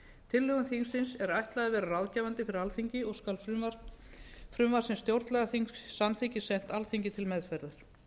tillögum þingsins er ætlað að vera ráðgefandi fyrir alþingi og skal frumvarp sem stjórnlagaþing samþykkir sent alþingi til meðferðar